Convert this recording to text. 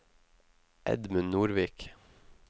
Edmund Nordvik